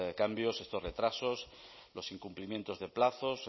cambios estos retrasos los incumplimientos de plazos